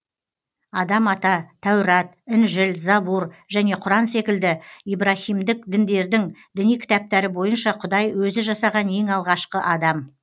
адам ата тәурат інжіл забур және құран секілді ибраһимдік діндердің діни кітаптары бойынша құдай өзі жасаған ең алғашқы адам